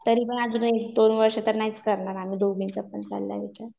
तरीपण अजून एक दोन वर्ष तरी नाहीच करणार आमच्या दोघींचा पण चाललाय विचार.